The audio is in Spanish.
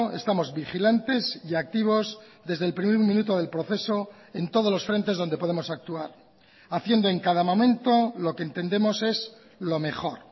estamos vigilantes y activos desde el primer minuto del proceso en todos los frentes donde podemos actuar haciendo en cada momento lo que entendemos es lo mejor